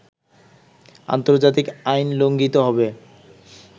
আন্তর্জাতিক আইন লঙ্ঘিত হবে